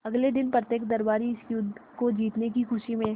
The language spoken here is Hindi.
अगले दिन प्रत्येक दरबारी इस युद्ध को जीतने की खुशी में